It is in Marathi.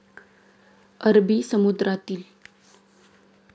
अरबी समुद्रातील.